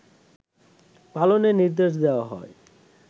পালনের নির্দেশ দেয়া হয়